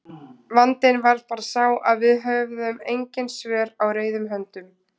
Vandinn var bara sá að við höfðum engin svör á reiðum höndum.